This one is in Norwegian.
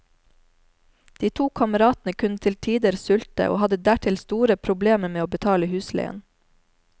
De to kameratene kunne til tider sulte, og hadde dertil store problemer med å betale husleien.